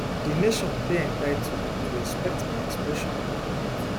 di nation dey entitled to expect my expression of regret